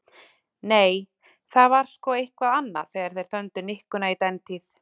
Nei, það var sko eitthvað annað þegar þeir þöndu nikkuna í dentíð.